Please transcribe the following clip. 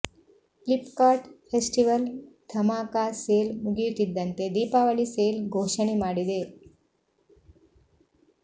Flipkart festival Dhamaka sale ಮುಗಿಯುತ್ತಿದ್ದಂತೆ Deepavali sale ಘೋಷಣೆ ಮಾಡಿದೆ